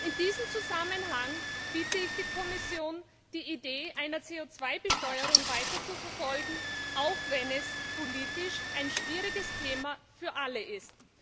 In diesem Zusammenhang bitte ich die Kommission, die Idee einer CO 2 Besteuerung weiter zu verfolgen, auch wenn dies politisch ein schwieriges Thema für alle ist.